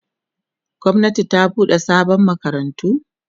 gwamnati ta buɗe sabon makarantu